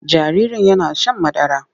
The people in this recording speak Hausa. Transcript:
Jaririn yana shan madara.